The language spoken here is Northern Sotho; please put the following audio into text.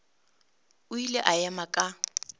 o ile a ema ka